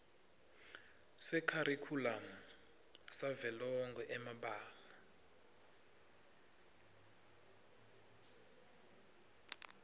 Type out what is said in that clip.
sekharikhulamu savelonkhe emabanga